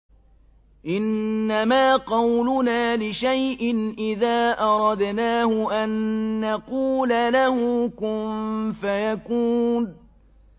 إِنَّمَا قَوْلُنَا لِشَيْءٍ إِذَا أَرَدْنَاهُ أَن نَّقُولَ لَهُ كُن فَيَكُونُ